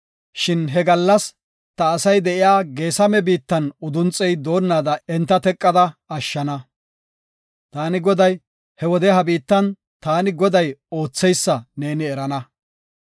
Shin he gallas ta asay de7iya Geesame biittan udunxey doonada enta teqada ashshana. Taani Goday, He wode ha biittan taani Goday ootheysa neeni erana.